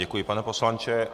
Děkuji, pane poslanče.